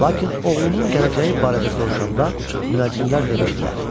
Lakin oğlunun gələcəyi barədə soruşanda münəccimlər demişdilər: